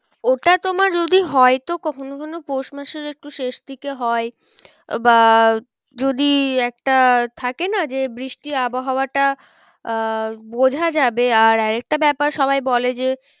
ওটা তোমার যদি হয় তো কখনো কখনো পৌষ মাসের একটু শেষ দিকে হয় বা যদি একটা থাকে না যে বৃষ্টির আবহাওয়াটা আহ বোঝা যাবে আর, আর একটা ব্যাপার সবাই বলে যে